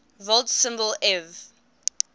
volt symbol ev